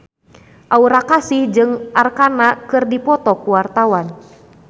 Aura Kasih jeung Arkarna keur dipoto ku wartawan